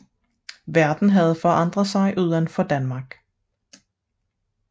Verden havde forandret sig uden for Danmark